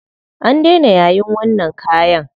An daina yayin wannan kayan.